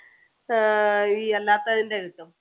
ആഹ് ഈ അല്ലാത്തതിന്‍ടെ കിട്ടും